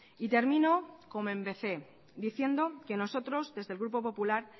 y termino como empecé diciendo que nosotros desde el grupo popular